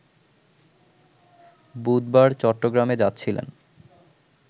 বুধবার চট্টগ্রামে যাচ্ছিলেন